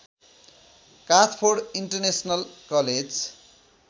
Kathford international college